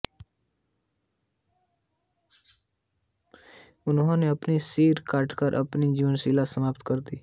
उन्होने अपना भी सिर काटकर अपनी जीवनलीला समाप्त कर दी